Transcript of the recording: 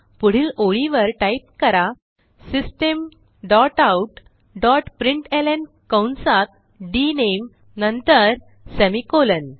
पुढील ओळीवर टाईप करा system dot out dot println कंसात डीएनएमई नंतर सेमिकोलॉन